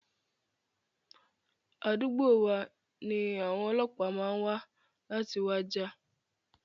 Àdúgbò wa ni àwọn ọlọ́pàá máa wa láti wá jà.